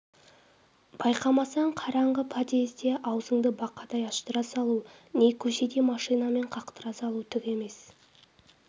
байқамасаң қараңғы подъезде аузыңды бақадай аштыра салу не көшеде машинамен қақтыра салу түк емес